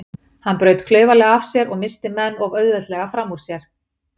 Hann braut klaufalega af sér og missti menn of auðveldlega fram úr sér.